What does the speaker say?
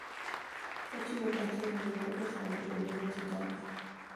Ochiwo pache e romo mar jofwambo boma ma Chicago